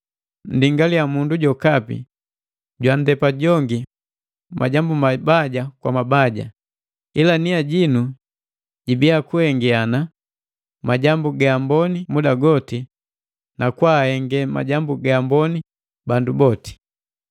Nndingalia mundu jokapi jwaandepa jongi majambu mabaja kwa mabaja, ila nia jinu jibia kuhengiana majambu ga amboni muda goti na kwa ahenge majambu ga amboni bandu boti.